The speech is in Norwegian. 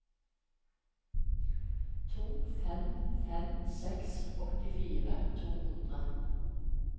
to fem fem seks åttifire to hundre